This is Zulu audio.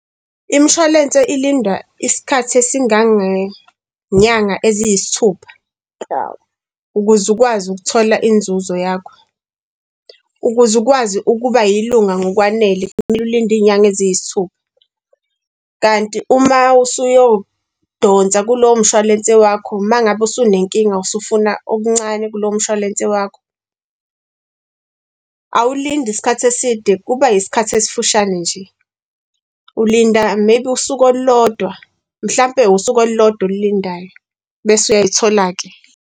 Imshwalense ilindwa isikhathi esingangenyanga eziyisithupha ukuze ukwazi ukuthola inzuzo yakho, ukuze ukwazi ukuba yilunga ngokwanele, kumele ulinde iy'nyanga eziyisithupha. Kanti uma usuyodonsa kulowo mshwalense wakho, uma ngabe usunenkinga usufuna okuncane kulowo mshwalense wakho, awulindi isikhathi eside, kuba isikhathi esifushane nje. Ulinda maybe usuku olulodwa mhlampe usuku olulodwa oyilindayo bese uyayithola-ke.